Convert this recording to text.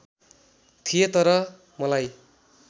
थिएँ तर मलाई